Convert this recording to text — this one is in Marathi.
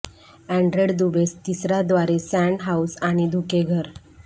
आन्ड्रे दुबेस तिसरा द्वारे सँड हाउस आणि धुके घर